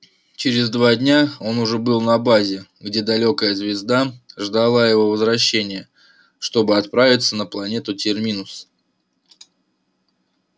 через два дня он уже был на базе где далёкая звезда ждала его возвращения чтобы отправиться на планету терминус